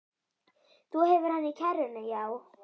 Þú hefur hann í kerrunni, já.